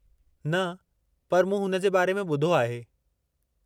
न, पर मूं हुन जे बारे में ॿुधो आहे।